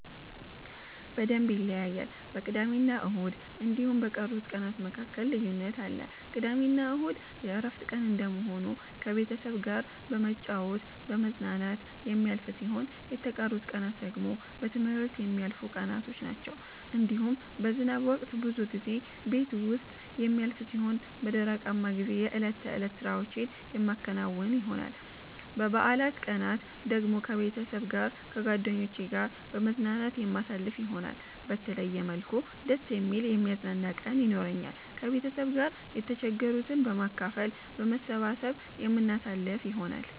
በደምብ ይለያያል በቅዳሜና እሁድ እንዲሁም በቀሩት ቀናት መካከል ልዩነት አለ። ቅዳሜና እሁድ የእረፍት ቀን እንደመሆኑ ከቤተሰብ ጋራ በመጫወት በመዝናናት የሚያልፍ ሲሆን የተቀሩት ቀናት ደግሞ በትምህርት የሚያልፉቀናቶች ናቸዉ። እንዲሁም በዝናብ ወቅት ብዙ ጊዜ ቤት ዉስጥ የሚያልፍ ሲሆን በደረቃማ ጊዜ የእለት ተእለት ስራዎቼን የማከናዉን ይሆናል። በበአላት ቀናት ደግሞ ከቤተሰብ ጋር ከጓደኜቼ ጋራ በመዝናናት የማሳልፍ ይሆናል። በተለየ መልኩ ደስ የሚል የሚያዝናና ቀን የኖራኛል። ከቤተሰብ ጋር የተቸገሩትን በማካፈል በመሰባሰብ የምናሳልፍ ይሆናል።